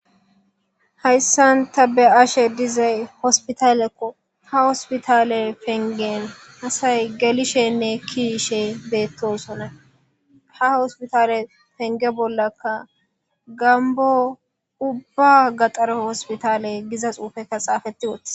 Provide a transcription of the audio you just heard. Haysan ta be'ashsha dizzay hosipitallekko ha hosipitalle peniggen asay gelishshenne ke'ishshen bettosona ha hosipitalle penigge bollanikka gambo ubba hosipitalle gizza sunththay xaffetis.